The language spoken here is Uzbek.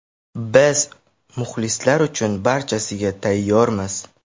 Biz muxlislar uchun barchasiga tayyormiz.